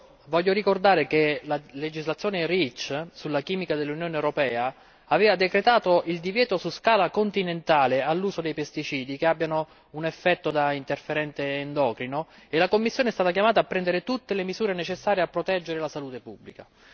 Io voglio ricordare che la legislazione REACH, sulla chimica dell'Unione europea, aveva decretato il divieto su scala continentale dell'uso di pesticidi che abbiano un effetto da interferente endocrino e la Commissione è stata chiamata a prendere tutte le misure necessarie a proteggere la salute pubblica.